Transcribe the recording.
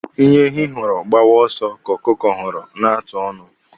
Ihe ehi hụrụ gbawa ọsọ ka ọkụkọ hụrụ na-atụ ọnụ.